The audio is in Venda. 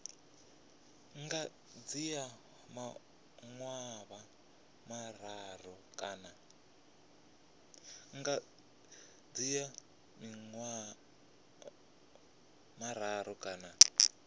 nga dzhia maḓuvha mararu kana